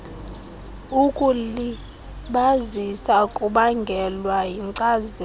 ukulibazisa kubangelwa yinkcazelo